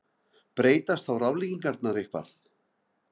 Breytast þá ráðleggingarnar eitthvað?